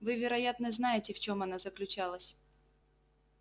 вы вероятно знаете в чем она заключалась